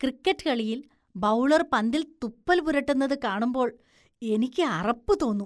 Cricket കളിയില്‍ bowler‍ പന്തില്‍ തുപ്പല്‍ പുരട്ടുന്നത് കാണുമ്പോള്‍ എനിക്ക് അറപ്പ് തോന്നും.